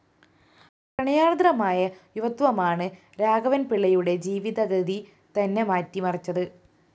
പ്രണയാര്‍ദ്രമായ യുവത്വമാണ് രാഘവന്‍പിള്ളയുടെ ജീവിതഗതി തന്നെ മാറ്റിമറിച്ചത്